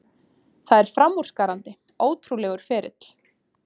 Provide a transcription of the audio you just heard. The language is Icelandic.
Það er framúrskarandi, ótrúlegur ferill.